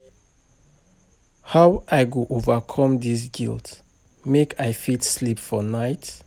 How I go overcome dis guilt make I fit sleep for night?